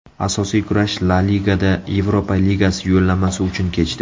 Asosiy kurash La ligada Yevropa ligasi yo‘llanmasi uchun kechdi.